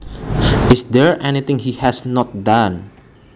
Is there anything he has not done